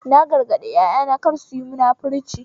Na gargaɗi ƴaƴana kada suyi munafurci